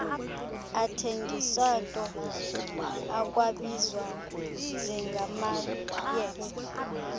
athengiswato akwabizwa njengamayeza